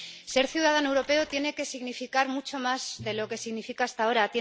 Ser ciudadano europeo tiene que significar mucho más de lo que significa hasta ahora.